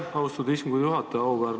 Aitäh, austatud istungi juhataja!